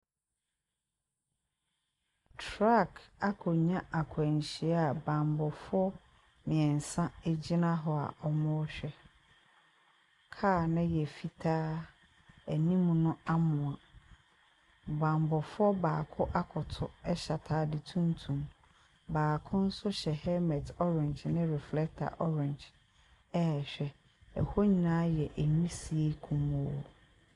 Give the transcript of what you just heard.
Truck akɔnya akwanhyia a bammɔfoɔ mmeɛnsa gyina hɔ a wɔrehwɛ. Cra no yɛ fitaa. Anim no amoa. Bammɔfoɔ baako akoto hyw atade tuntum. Baako nso hyɛ helmet orange ne reflector orange rehwɛ. Ɛhɔ nyinaa yɛ nwisie kumoo.